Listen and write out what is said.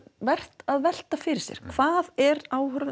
vert að velta fyrir sér hvað er